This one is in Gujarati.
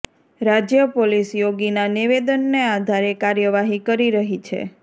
રાજ્ય પોલીસ યોગીના નિવેદનને આધારે કાર્યવાહી કરી રહી છે